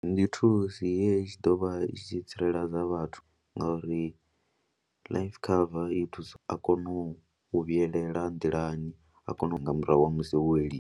Ndi thusi ye ya tshi ḓo vha i tshi tsireledza vhathu ngauri life cover i ya thusa, a kone u u vhuyelela nḓilani a kone u nga murahu ha musi wo weliwa.